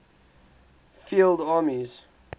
field armies